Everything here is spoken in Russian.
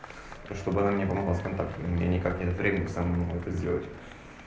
чтобы она мне помогла с контактами у меня никак нет времени самому это сделать